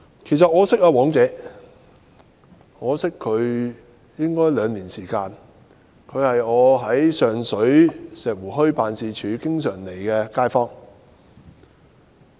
其實，我認識"黃姐"已兩年，她是經常到訪我在上水石湖墟的辦事處的街坊。